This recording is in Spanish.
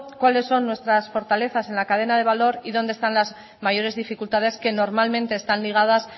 cuáles son nuestras fortalezas en la cadena de valor y dónde están las mayores dificultades que normalmente están ligadas